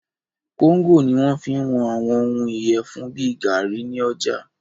Kóńgò ní wọ́n fí ń wọn àwọn òhún ìyẹfun bìí gaàrí ní ọjà.